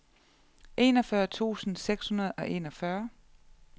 enogfyrre tusind seks hundrede og enogfyrre